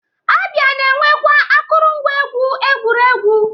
A bịa na-enwekwa akụrụngwa egwu egwuregwu.